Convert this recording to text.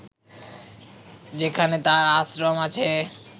যেখানে তার আশ্রম আছে